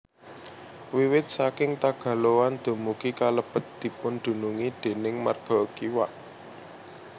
Wiwit saking Tagaloan dumugi Kelebet dipundunungi déning marga Kiwak